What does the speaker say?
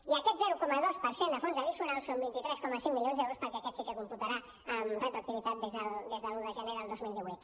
i aquest zero coma dos per cent de fons addicional són vint tres coma cinc milions d’euros perquè aquest sí que computarà amb retroactivitat des de l’un de gener del dos mil divuit